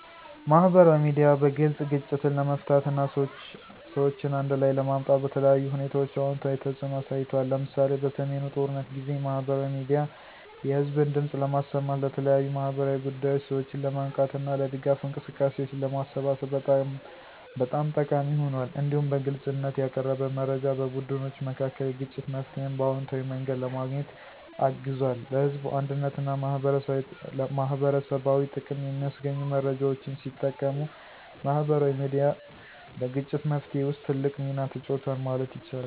ማህበራዊ ሚዲያ በግልጽ ግጭትን ለመፍታት እና ሰዎችን አንድ ላይ ለማምጣት በተለያዩ ሁኔታዎች አዎንታዊ ተጽዕኖ አሳይቷል። ለምሳሌ፣ በሰሜኑ ጦርነት ጊዜ ማህበራዊ ሚዲያ የህዝብን ድምፅ ለማሰማት፣ ለተለያዩ ማህበራዊ ጉዳዮች ሰዎችን ለማንቃት እና ለድጋፍ እንቅስቃሴዎች ለማሰባሰብ በጣም ጠቃሚ ሆኗል። እንዲሁም በግልጽነት ያቀረበ መረጃ በቡድኖች መካከል የግጭት መፍትሄን በአዎንታዊ መንገድ ለማግኘት አግዟል። ለህዝብ አንድነትና ማህበረሰባዊ ጥቅም የሚያስገኙ መረጃዎችን ሲጠቀሙ ማህበራዊ ሚዲያ በግጭት መፍትሄ ውስጥ ትልቅ ሚና ተጫውቷል ማለት ይቻላል።